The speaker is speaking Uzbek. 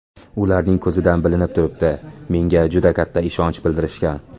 Ularning ko‘zidan bilinib turibdi, menga juda katta ishonch bildirishgan.